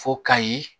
Fo kayi